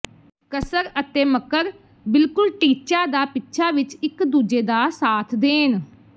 ਕਸਰ ਅਤੇ ਮਕਰ ਬਿਲਕੁਲ ਟੀਚਾ ਦਾ ਪਿੱਛਾ ਵਿੱਚ ਇਕ ਦੂਜੇ ਦਾ ਸਾਥ ਦੇਣ